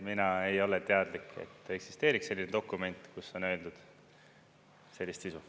Mina ei ole teadlik, et eksisteeriks selline dokument, kus on öeldud sellist sisu.